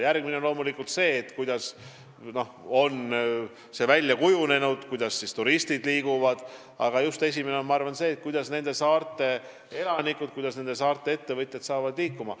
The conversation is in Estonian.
Järgmine tasand on loomulikult see, kuidas on välja kujunenud turistide liikumine, aga kõige tähtsam on see, kuidas saavad saarte elanikud ja ettevõtjad liikuma.